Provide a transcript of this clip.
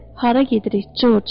Hara gedirik, Corc?